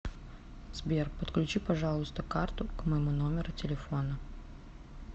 сбер подключи пожалуйста карту к моему номеру телефона